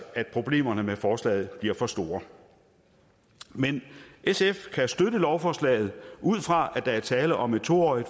at problemerne med forslaget bliver for store sf kan støtte lovforslaget ud fra at der er tale om et to årig